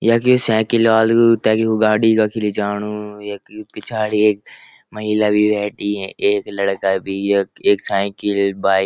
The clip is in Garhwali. यखी साईकिल आलू तखी वू गाडी कखी लिजाणू यख यु पिछाड़ी एक महिला भी बैंठी है एक लड़का भी यख एक साईकिल बाइक ।